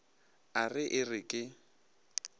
a re e re ke